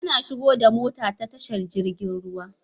Ana shigo da mota ta tashar jirgin ruwa